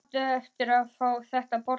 Þú átt eftir að fá þetta borgað!